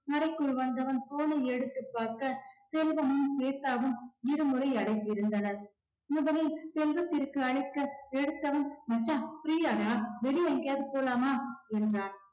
அறைக்குள் வந்தவன் phone ஐ எடுத்துப் பார்க்க செல்வமும் ஸ்வேதாவும் இருமுறை அழைத்திருந்தனர். இவனே செல்வத்திற்கு அழைக்க எடுத்தவன் மச்சான் free யா டா வெளிய எங்கயாவது போலாமா என்றான்.